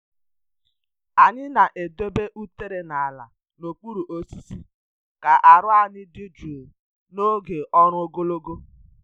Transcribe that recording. Anyị na-edobe utere n’ala n’okpuru osisi ka aru anyị dị jụụ n’oge ọrụ ogologo.